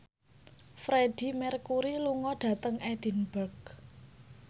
Freedie Mercury lunga dhateng Edinburgh